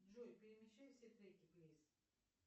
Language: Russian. джой перемешай все треки плиз